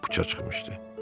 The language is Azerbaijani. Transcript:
olmaq planı puça çıxmışdı.